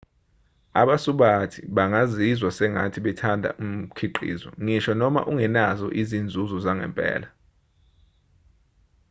abasubathi bangazizwa sengathi bathanda umkhiqizo ngisho noma ungenazo izinzuzo zangempela